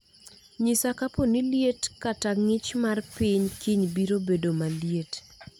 nyisa kaponi liet kata ngich mar piny kiny biro bedo maliet